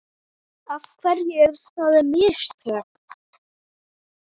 Af hverju eru það mistök?